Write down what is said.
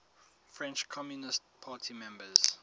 french communist party members